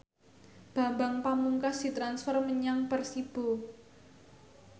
Bambang Pamungkas ditransfer menyang Persibo